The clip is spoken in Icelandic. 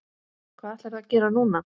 Hvað ætlarðu að gera núna?